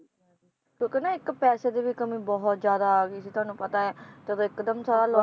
ਕਿਉਂਕਿ ਨ ਇੱਕ ਪੈਸੇ ਦੀ ਵੀ ਕਮੀ ਬਹੁਤ ਜ਼ਿਆਦਾ ਆ ਗਈ ਸੀ ਤੁਹਾਨੂੰ ਪਤਾ ਹੈ, ਜਦੋ ਇਕਦਮ ਸਾਰਾ ਲੋ~